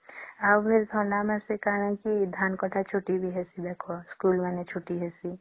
ଆଉ ଥଣ୍ଡା ମାସେ କଣ କି ଧାନ କଟା ଛୁଟି ବି ହେଇସି ଦେଖା ସ୍କୁଲ ମାନେ ବି ଛୁଟି ହେଇସି